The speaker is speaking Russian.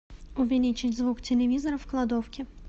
увеличить звук телевизора в кладовке